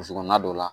Burusi kɔnɔna dɔ la